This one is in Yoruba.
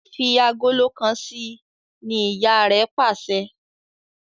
Fí Àgòló kán sí! ní ìyá rẹ pàṣẹ.